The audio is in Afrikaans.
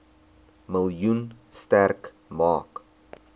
miljoen sterk maak